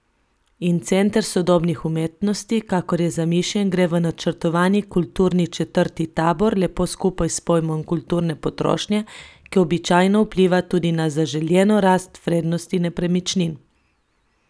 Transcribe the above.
In Center sodobnih umetnosti, kakor je zamišljen, gre v načrtovani kulturni četrti Tabor lepo skupaj s pojmom kulturne potrošnje, ki običajno vpliva tudi na zaželjeno rast vrednosti nepremičnin.